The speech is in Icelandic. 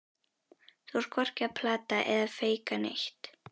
Þú ert hvorki að plata eða feika neitt.